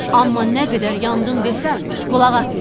amma nə qədər "yandım" desəm, qulaq asmayın.